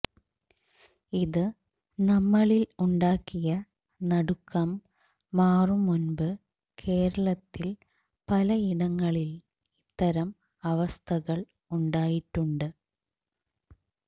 ഇത് നമ്മളില് ഉണ്ടാക്കിയ നടുക്കം മാറും മുന്പ് കേരളത്തില് പലയിടങ്ങളില് ഇത്തരം അവസ്ഥകള് ഉണ്ടായിട്ടുണ്ട്